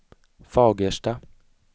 Fagersta